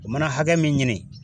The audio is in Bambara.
U mana hakɛ min ɲini